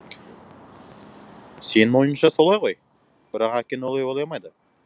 сенің ойынша солай ғой бірақ әкең олай ойламайды